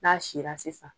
N'a sila sisan